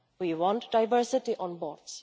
We want diversity on boards.